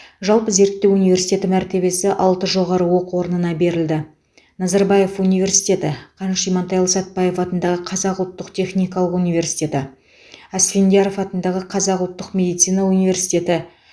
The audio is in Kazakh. жалпы зерттеу университеті мәртебесі алты жоғары оқу орнына берілді назарбаев университеті қаныш имантайұлы сәтбаев атындағы қазақ ұлттық техникалық университеті асфендияров атындағы қазақ ұлттық медицина университеті